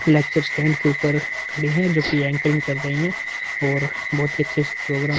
stand के ऊपर खड़े है जोकि एंकरिंग कर रहे है और बहोत ही अच्छे से प्रोग्राम --